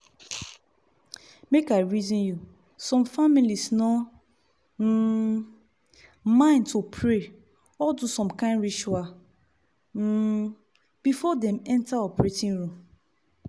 make i reason you some families no um mind to pray or do some kind ritual um before dem enter operating room.